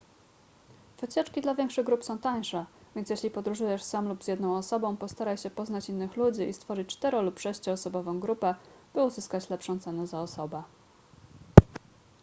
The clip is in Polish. wycieczki dla większych grup są tańsze więc jeśli podróżujesz sam lub z jedną osobą postaraj się poznać innych ludzi i stworzyć cztero lub sześcioosobową grupę by uzyskać lepszą cenę za osobę